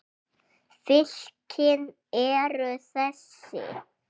Fylkin eru þessi